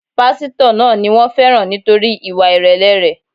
Pásítọ̀ náà ni wón féràn nítorí ìwà ìrèlè rẹ̀.